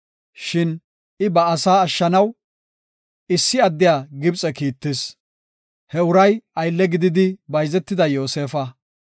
Shin I ba asaa ashshanaw, issi addiya Gibxe kiittis; he uray aylle gididi bayzetida Yoosefa.